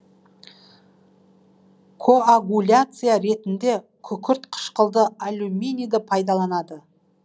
коагуляция ретінде күкіртқышқылды аллюминийді пайдаланады